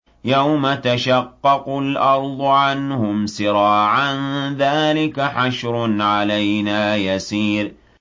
يَوْمَ تَشَقَّقُ الْأَرْضُ عَنْهُمْ سِرَاعًا ۚ ذَٰلِكَ حَشْرٌ عَلَيْنَا يَسِيرٌ